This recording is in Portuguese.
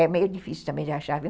É meio difícil também de achar, viu